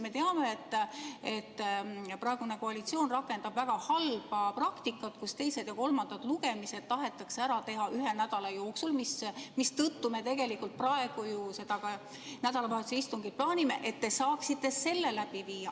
Me teame, et praegune koalitsioon rakendab väga halba praktikat, nii et teised ja kolmandad lugemised tahetakse ära teha ühe nädala jooksul, mistõttu me tegelikult praegu ju seda nädalavahetuse istungit plaanime, et te saaksite selle läbi viia.